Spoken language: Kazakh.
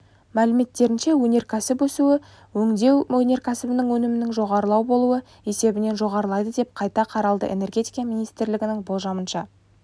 мәліметтерінше өнеркәсіп өсуі өңдеу өнеркәсібінің өсімінің жоғарылау болуы есебінен жоғарлайды деп қайта қаралды энергетика министрлігінің болжамынша